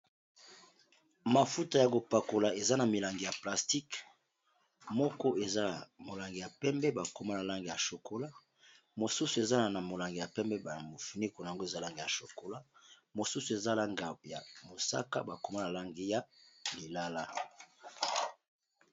mafuta ya kopakola eza na milangi ya plastique moko eza na molangi ya pembe bakoma na langi ya shokola mosusu ezala na molangi ya pembe baamofunicona yango ezalanga ya chokola mosusu ezalanga ya mosaka bakoma la langi ya lilala